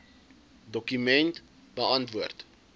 dokument beantwoord